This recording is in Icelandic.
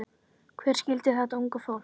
Hver skildi þetta unga fólk?